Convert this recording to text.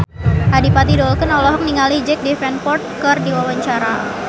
Adipati Dolken olohok ningali Jack Davenport keur diwawancara